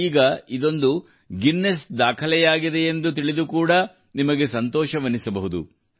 ಈಗ ಇದೊಂದು ಗಿನ್ನೀಸ್ ದಾಖಲೆಯಾಗಿದೆಯೆಂದು ತಿಳಿದು ಕೂಡಾ ನಿಮಗೆ ಸಂತೋಷವೆನಿಸಬಹುದು